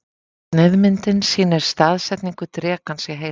Sneiðmyndin sýnir staðsetningu drekans í heilanum.